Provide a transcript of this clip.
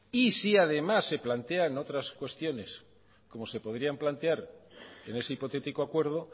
y si además se plantean otras cuestiones como se podrían plantear en ese hipotético acuerdo